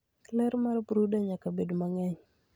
Ler mar brooder nyaka bed mang'eny.